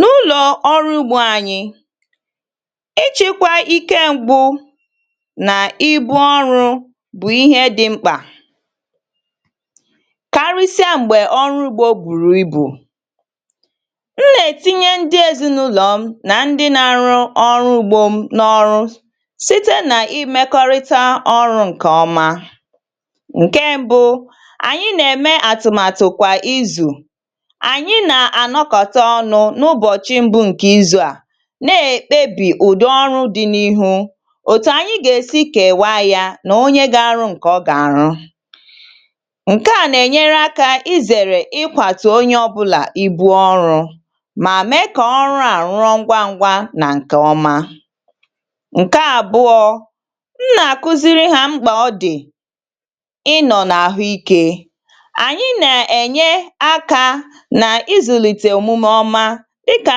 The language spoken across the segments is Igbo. N’ụlọ̀ ọrụ ugbȯ ànyị̇, ịchị̇kwȧ ike ṁgbu nà ibu ọrụ̇ bụ̀ ihė dị̇ mkpà karịsịa m̀gbè ọrụ ugbȯ bùrù ibù. M nà-ètinye ndị ezinàụlọ̀ m nà ndị nȧ-arụ ọrụ ugbȯ m n’ọrụ site nà imekọrịta ọrụ̇ ǹkè ọma. Nke mbu̇, ànyị nà-ème àtụ̀màtụ̀ kwà izù, anyị na-anọọ́kọ̀ta ọnụ n’ụbọ̀chị mbụ ǹkè izu̇ à ná-ékpebì ụ̀dị́ ọ́rụ́ dị n’ihu, òtù ànyị́ gà-èsi kèwaá yȧ nà onye gȧ-ȧrụ́ ǹkè ọ́ gà-àrụ́. Nkè à nà-ènyere akȧ izèrè ịkwàtụ̀ onye ọ́bụ̇là ibu̇ ọrụ̇ mà meé kà ọrụ à rụọ ngwá ngwá nà ǹkè ọma. Nkè àbụọ́, m nà-àkụziri hȧ mkpà ọ dị̀ ịnọ̇ n’àhụ́ ikė, ànyị́ nà-ènyere akȧ na-ịzụlite omume ọma dịkà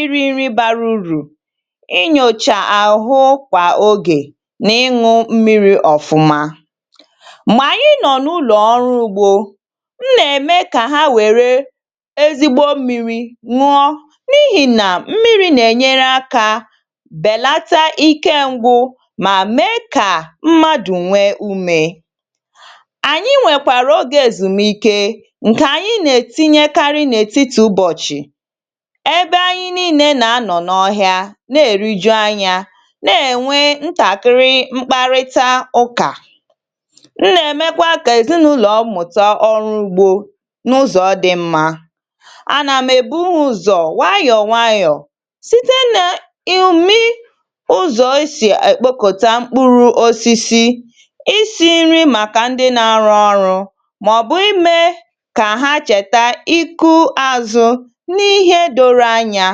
iri nri bara urù, inyòchà àhụ kwà ogè n’ịñụ̇ mmiri̇ ọ̀fụma. Mgbe anyị nọ̀ n’ụlọ̀ ọrụ ugbȯ, m nà-ème kà ha wère ezigbo mmiri̇ ṅụọ n’ihì nà mmiri̇ nà-ènyere akȧ bèlata ike ngwụ mà mee kà mmadụ nwee umė. Anyị nwèkwàrà ogė èzùmike ǹkè anyị nà-ètinyekarị n’ètitì ụbọ̀chị̀ ebe anyị nille nà-anọ̀ n’ọhịa na-èriju anyȧ na-ènwe ntàkịrị mkparịta ụkà. M nà-èmekwa ka èzinàụlọ̀ m mụ̀ta ọrụ ugbȯ n’ụzọ̇ dị mma. Anà m èbu ụzọ̀ wayọ̀ wayọ̀ site nà ị̀ umi ụzọ̀ e sì èkpokota mkpụrụ osisi, isi̇ nri màkà ndị na-arụ ọrụ̇ mà ọ̀bụ̀ ime kà ha chèta iku azụ̇ nihe doro anya.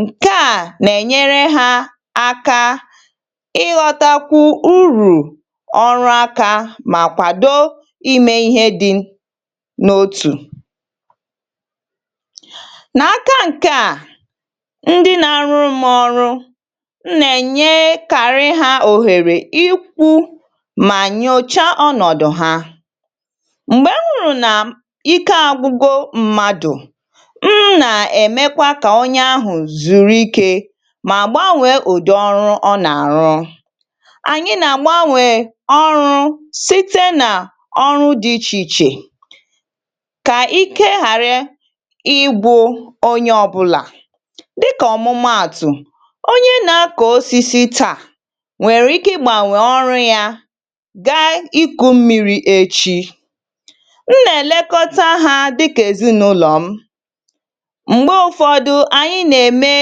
Nkè a nà-ènyere ha aka ịghọtakwu urù ọrụ aka mà kwàdo ime ihe dị n’otù. Nàka ǹkè a, ndi nà-arụrụ m ọrụ, m nà-ènyekàrị ha òhèrè ikwu mà nyòcha ọnọ̀dụ̀ ha. M̀gbè m hụrụ nà ike àgwụgo mmadụ̀, m na-emekwa ka onye ahụ zuru ike mà gbanwèè ụdị ọrụ ọ nà-àrụ. Anyị nà-àgbanwè ọrụ site nà ọrụ dị ichè ichè kà ike ghàra ịgwụ onye ọbụlà. Dịkà ọ̀mụmaàtụ̀, onye nà-akọ̀ osisi taà nwèrè ike ịgbànwè ọrụ yȧ gaa iku̇ mmiri̇ echi. M na-elekọta ha dịka ezinụlọm. Mgbe ụfọdụ, anyi nà-ème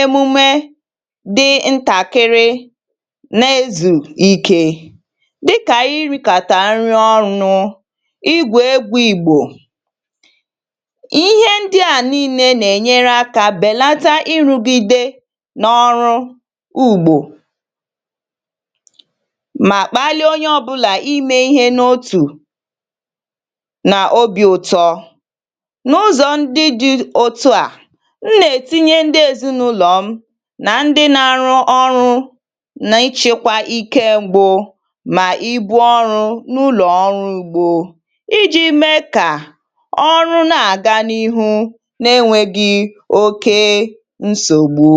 emume dị ntàkịrị na-ezù ikė dịkà ịrìkàtà nri ọnụ̇, igwu egwu ìgbò. Ihe ndị à nii̇nė nà-ènyere akȧ bèlata ịrugide n’ọrụ ugbȯ mà kpalie onye ọ̇bụ̇là imė ihe n’otù na obì ụtọ. N’ụzọ ndị dị̇ otu à,m nà-etinye ndị ezinụlọ m nà ndị na-arụ ọrụ nà ịchịkwa ike m̀gbù nà ibu ọrụ n’ụlọ̀ ọrụ ugbo iji̇ mee kà ọrụ na-àga n’ihu na-enwėgị oké nsògbu.